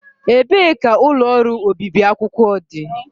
Ebee ka ụlọ ọrụ obibi akwụkwọ dị?